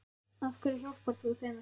Af hverju hjálpar þú þeim ekki?